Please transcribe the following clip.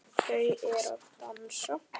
Þau eru að dansa